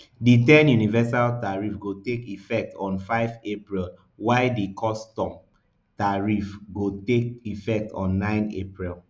di ten universal tariff go take effect on five april while di custom tariff go take effect on nine april